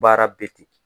Baara bɛ ten